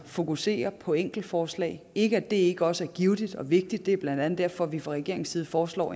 fokuserer på enkeltforslag ikke at det ikke også er givtigt og vigtigt det er blandt andet derfor at vi fra regeringens side foreslår